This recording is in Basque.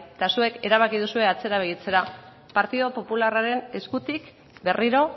eta zuek erabaki duzue atzera begiratzera partidu popularraren eskutik berriro